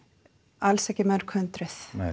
alls ekki mörghundruð